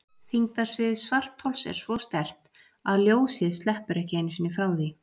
Þyngdarsvið svarthols er svo sterkt að ljósið sleppur ekki einu sinni frá því.